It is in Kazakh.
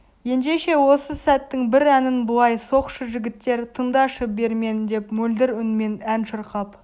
ендеше осы сәттің бір әнін былай соқшы жігіттер тыңдашы бермен деп мөлдір үнмен ән шырқап